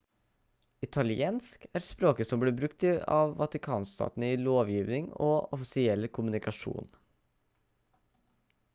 italiensk er språket som blir brukt av vatikanstaten i lovgivning og offisiell kommunikasjon